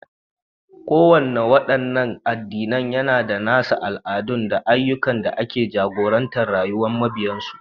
Kowannen wadannan addinan yAna da nasa nassosi na musamman, al'adu, da ayyukan da ke jagorantar rayuwar mabiyansu